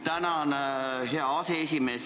Tänan, hea aseesimees!